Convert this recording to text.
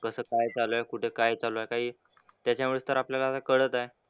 कसं काय चालू आहे, कुठं काय चालू आहे काही त्याच्यामुळेच तर आपल्याला कळत आहे.